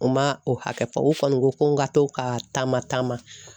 U ma o hakɛ fɔ u kɔni ko ko n ka to ka taama taama